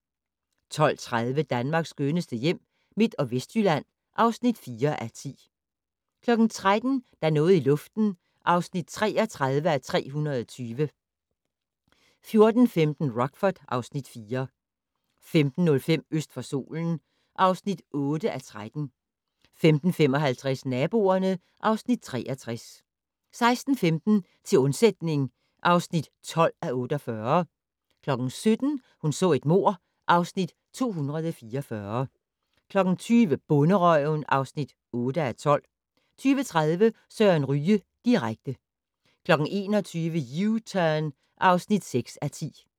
12:30: Danmarks skønneste hjem - Midt- og Vestjylland (4:10) 13:00: Der er noget i luften (33:320) 14:15: Rockford (Afs. 4) 15:05: Øst for solen (8:13) 15:55: Naboerne (Afs. 63) 16:15: Til undsætning (12:48) 17:00: Hun så et mord (Afs. 244) 20:00: Bonderøven (8:12) 20:30: Søren Ryge direkte 21:00: U-Turn (6:10)